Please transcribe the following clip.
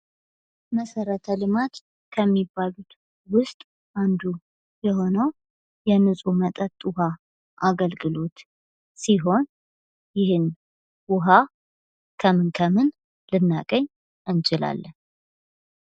መሠረተ ልማት ከሚባሉት ውስጥ አንዱ የሆነው የንፁህ መጠጥ ውሃ አገልግሎት ሲሆን፤ ይህን ውሃ ከምን ከምን ልናገኝ እንችላለን?